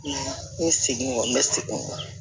N seginen kɔ n bɛ segin o kɔ